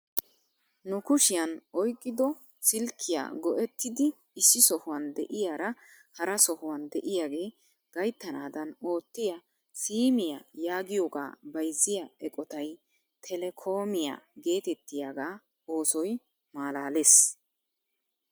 Nu kushshiyaan oyqqido silkkiyaa go"ettidi issi sohuwaan de'iyaara hara shuwaan de'iyaage gayttanaadan oottiyaa siimiyaa yaagiyoogaa bayzziyaa eqotay teleekoomiyaa getettiyaga oosoy malaales!